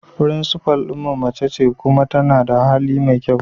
Principal din mu mace ce kuma tana da hali mai kyau.